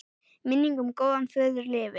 Minning um góðan föður lifir.